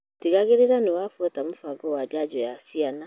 Tigĩrĩra niwafuata mũbango wa janjo ya ciana.